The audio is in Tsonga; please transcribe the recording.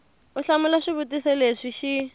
u hlamula swivutiso leswi xi